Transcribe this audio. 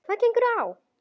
Hvað gengur á!